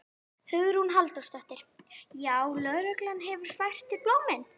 Hugrún Halldórsdóttir: Já, lögreglan hefur fært þér blómin?